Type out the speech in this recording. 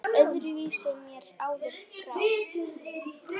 Öðru vísi mér áður brá.